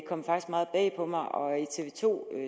kom ret meget bag på mig og i tv to